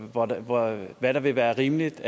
og hvad der vil være rimeligt